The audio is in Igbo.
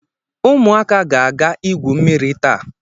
ụmụaka ga-aga igwu mmiri taa